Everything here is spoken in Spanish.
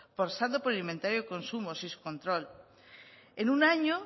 pasando por el inventario de consumos y su control en un año